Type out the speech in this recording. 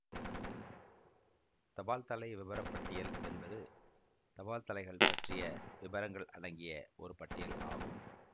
தபால்தலை விபரப்பட்டியல் என்பது தபால்தலைகள் பற்றிய விபரங்கள் அடங்கிய ஒரு பட்டியல் ஆகும்